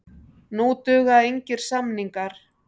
Nú duga engir samningar.